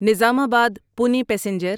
Nizamabad Pune passenger